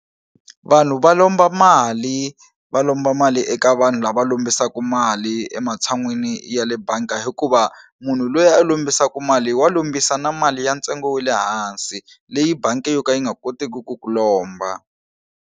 Vanhu va lomba mali va lomba mali eka vanhu lava lombisaku mali ematshan'wini ya le banga hikuva munhu lweyi a lombisaku mali wa lombisa na mali ya ntsengo wa le hansi leyi bangi yo ka yi nga koteki ku ku lomba.